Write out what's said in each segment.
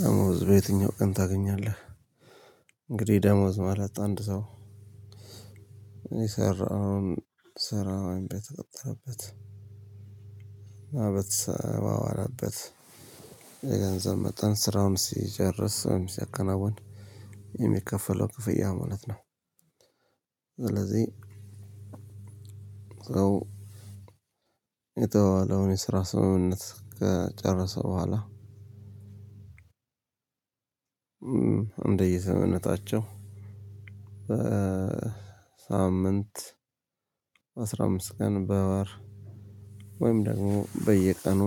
ደሞዝ በየትኛው ቀን ታገኛለህ? እንግዲህ ደሞዝ ማለት አንድ ሰው የሰራውን ስራ ወይም በተቀጠረበት በተሰማራበት የገንዘብ መጠን ስራውም ሲጨርስ ወይም ሲያከናውን የሚከፈለው ክፍያ ማለት ነው። ስለዚህ ሰው የተዋዋለውን የስራ ስምምነት ከጨረሰ በኋላ እንደ የዘመነታቸው በሳምንት አስራ አምስት ቀን በወር ወይም ደግሞ በየቀኑ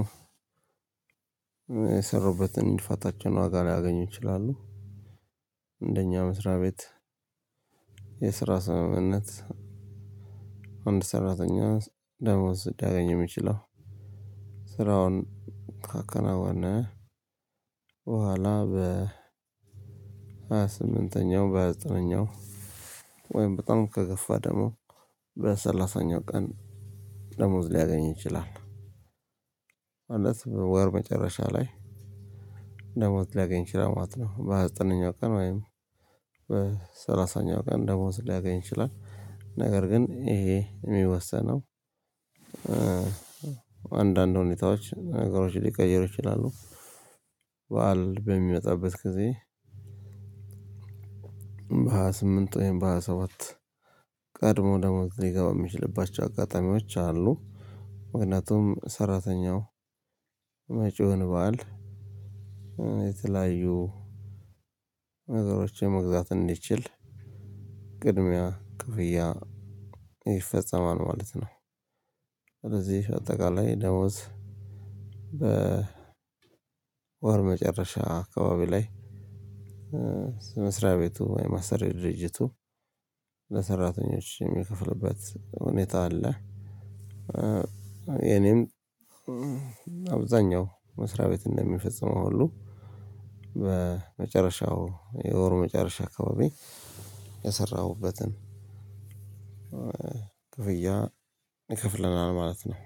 የሰሩበትን የልፋታቸውን ዋጋ ሊያገኙ ይችላሉ። እንደኛ መስሪያ ቤት የስራ ስምምነት አንድ ሰራተኛ ደሞዝ ሊያገኝ የሚችለው ስራውን ካከናወነ በኋላ በሃያ ስምንተኛው በሃያ ዘጠነኛው ወይም በጣም ከገፋ ደግሞ በሰላሳኛው ቀን ደሞዝ ሊያገኝ ይችላል። ማለት ወር መጨረሻ ላይ ደሞዝ ሊያገኝ ይችላል ማለት ነው። በሃያ በዘጠነኛው ቀን ወይም በሰላሳኛው ቀን ደሞዝ ሊያገኝ ይችላል። ነገር ግን ይሄ የሚወሰነው አንዳንድ ሁኔታዎች ነገሮች ሊቀየሩ ይችላሉ። በዓል በሚመጣበት ጊዜ በሃያ ስምንት ወይም በሃያ ሰባት ቀድሞ ደግሞ ሊገባ የሚችልባቸው አጋጣሚዎች አሉ። ምክንያቱም ሰራተኛው መጪውን በዓል የተለያዩ ነገሮችን መግዛት እንዲችል ቅድሚያ ክፍያ ይፈጸማል ማለት ነው። ስለዚህ አጠቃላይ ደሞዝ ወር መጨረሻ አካባቢ ላይ መስሪያ ቤቱ ወይም አሰሪ ድርጅቱ ለሰራተኞች የሚከፍልበት ሁኔታ አለ። የእኔም መስሪያ ቤት እንደሚፈጽመው ሁሉ በመጨረሻው የወሩ መጨረሻ አካባቢ የሰራሁበትን ክፍያ ይከፍለናል ማለት ነው።